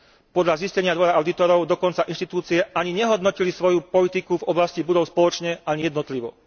Podľa zistenia Dvora audítorov dokonca inštitúcie ani nehodnotili svoju politiku v oblasti budov spoločne, ani jednotlivo.